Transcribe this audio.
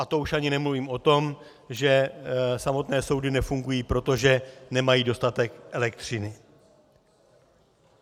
A to už ani nemluvím o tom, že samotné soudy nefungují, protože nemají dostatek elektřiny.